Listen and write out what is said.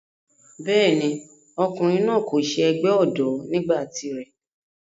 bẹ́ẹ̀ni, ọkùnrin náà kò se ẹgbẹ́ ọ̀dọ́ nígbà tiré